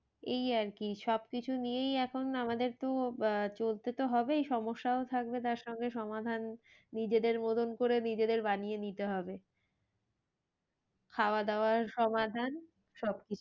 এই আর কি সব কিছু নিয়েই এখন আমাদের তো আহ চলতে তো হবেই সমস্যাও থাকবে তার সঙ্গে সমাধান নিজেদের মতন করে নিজেদের বানিয়ে নিতে হবে। খাওয়া দাওয়ার সমাধান সব